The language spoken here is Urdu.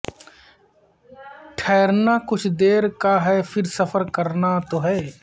ٹھیرنا کچھ دیر کا ہے پھر سفر کرنا تو ہے